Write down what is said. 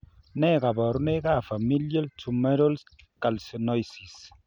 Nee kabarunoikab Familial tumoral calcinosis?